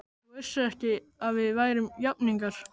Þú vissir ekki að við værum jafningjar.